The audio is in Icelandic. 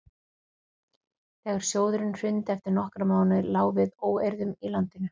þegar sjóðurinn hrundi eftir nokkra mánuði lá við óeirðum í landinu